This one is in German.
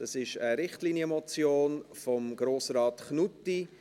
Es ist eine Richtlinienmotion von Grossrat Knutti.